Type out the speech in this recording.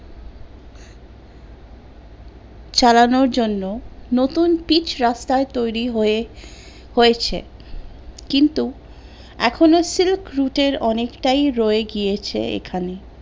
চালানোর জন্য নতুন পিচ রাস্তা তৈরী হয়ে হয়েছে কিন্তু এখনো silk route এর অনেকটাই রয়ে গিয়েছে এখানে